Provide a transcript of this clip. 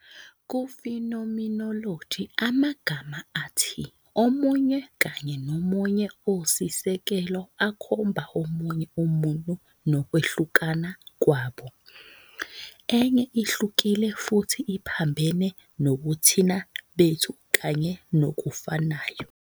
ku-phenomenology amagama athi omunye kanye nomunye osisekelo akhomba omunye umuntu nokwehlukana kwabo. Enye ihlukile futhi iphambene nobuthina bethu kanye nokufanayo.